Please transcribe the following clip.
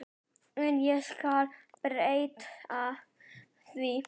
En ég skal breyta því.